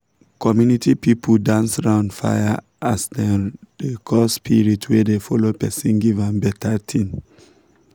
community people dance round fire as dem dey call spirit wey dey follow person give am better thing.